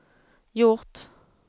gjort